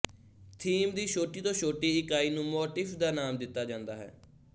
theme ਦੀ ਛੋਟੀ ਤੋਂ ਛੋਟੀ ਇਕਾਈ ਨੂੰ ਮੋਟਿਫ਼ ਦਾ ਨਾਮ ਦਿੱਤਾ ਜਾਂਦਾ ਹੈ